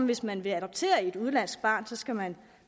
hvis man vil adoptere et udenlandsk barn skal man